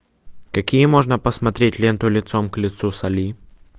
какие можно посмотреть ленту лицом к лицу с али